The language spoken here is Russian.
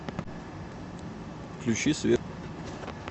включи свет